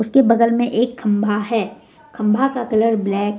उसके बगल में एक खम्भा है खम्भा का कलर ब्लैक है।